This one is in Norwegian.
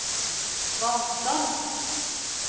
vannstand